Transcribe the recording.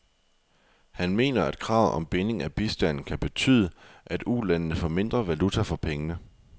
Han mener, at kravet om binding af bistanden kan betyde, at ulandene får mindre valuta for pengene.